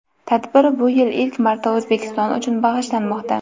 Tadbir bu yil ilk marta O‘zbekiston uchun bag‘ishlanmoqda.